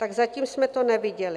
Tak zatím jsme to neviděli.